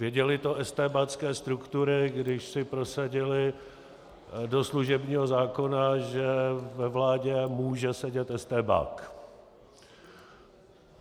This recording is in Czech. Věděly to estébácké struktury, když si prosadily do služebního zákona, že ve vládě může sedět estébák.